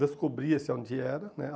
Descobria-se onde era, né.